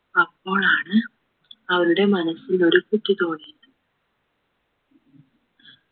അപ്പോഴാണ് അവരുടെ മനസ്സിൽ ഒരു ബുദ്ധി തോന്നിയത്